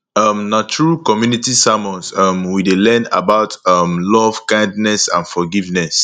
um na through community sermons um we dey learn about um love kindness and forgiveness